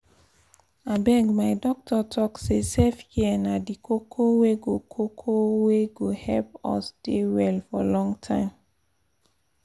abeg my doctor talk say self-care na di koko wey go koko wey go help us dey well for long time